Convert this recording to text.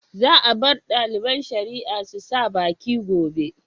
Za a bar ɗaliban shari'a su sa baki gobe.